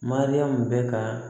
Mariyamu bɛ ka